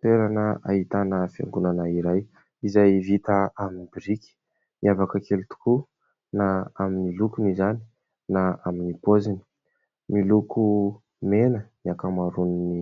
Toerana ahitana fiangonana iray izay vita amin'ny biriky, miavaka kely tokoa na amin'ny lokony izany na amin'ny paoziny, miloko mena ny ankamaroan'ny